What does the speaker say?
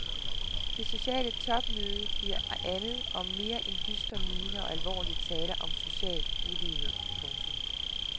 Det sociale topmøde bliver andet og mere end dystre miner og alvorlige taler om social ulighed. punktum